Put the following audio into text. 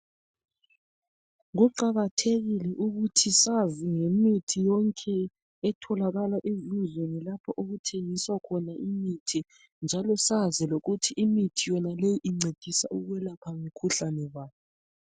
Kuqakathekile ukuthi sazi ngemithi yonke etholakala ezindlini lapho okuthengiswa khona imithi. Njalo sazi lokuthi imithi yonaleyi oncedisa ukwelapha mkhuhlane bani.